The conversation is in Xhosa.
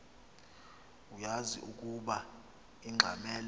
uyaz ukoba ungxamel